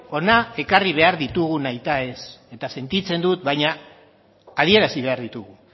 hona ekarri behar ditugu nahita ez eta sentitzen dut baina adierazi behar ditugu